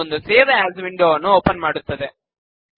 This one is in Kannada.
ಇದು ಒಂದು ಸೇವ್ ಎಎಸ್ ವಿಂಡೋ ವನ್ನು ಓಪನ್ ಮಾಡುತ್ತದೆ